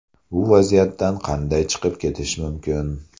Bu vaziyatdan qanday chiqib ketish mumkin?